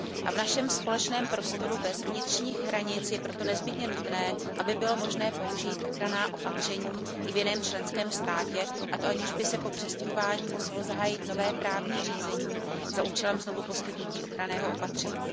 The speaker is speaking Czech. V našem společném prostoru bez vnitřních hranic je proto nezbytně nutné, aby bylo možné použít ochranná opatření i v jiném členském státě, a to aniž by se po přestěhování muselo zahájit nové právní řízení za účelem znovuposkytnutí ochranného opatření.